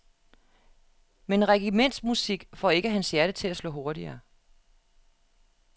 Men regimentsmusik får ikke hans hjerte til at slå hurtigere.